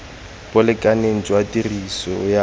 bo lekaneng jwa tiriso ya